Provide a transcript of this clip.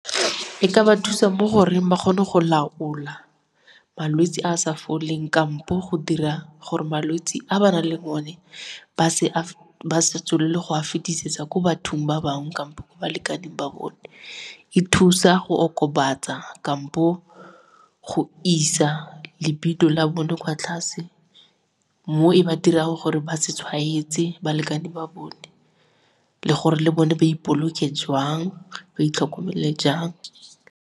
E ka ba thusa mo go reng ba kgone go laola malwetse a a sa foleng kampo go dira gore malwetse a ba nang le o ne ba se tswelele go a fetisetsa ko bathong ba bangwe kampo balekaneng ba bone. E thusa go okobatsa kampo go isa la bone kwa tlase mo e ba dirang gore ba se tshwaetse balekane ba bone le gore le bone ba ipoloke jwang ba itlhokomele jang.